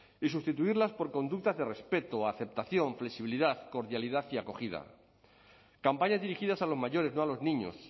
y sustituirlas por conductas de respeto aceptación flexibilidad cordialidad y acogida campañas dirigidas a los mayores no a los niños